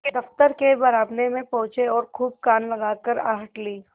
दफ्तर के बरामदे में पहुँचे और खूब कान लगाकर आहट ली